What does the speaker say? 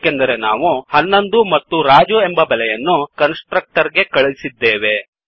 ಏಕೆಂದರೆ ನಾವು11 ಮತ್ತು ರಾಜು ಎಂಬ ಬೆಲೆಯನ್ನು ಕನ್ಸ್ ಟ್ರಕ್ಟರ್ ಗೆ ಕಳಿಸಿದ್ದೇವೆ